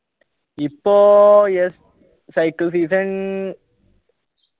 ഇപ്പോ yes season